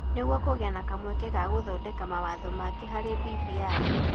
Nĩguo kũgĩe na kamweke ga gũthondeka mawatho mangĩ harĩ BBI.